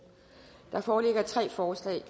der foreligger tre forslag